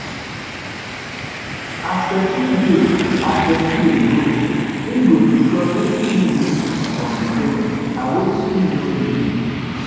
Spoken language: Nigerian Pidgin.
As persin de as person de grow im go discuss wetin im need from di parents and wetin im no need